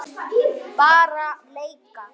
Bara leika.